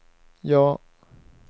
ja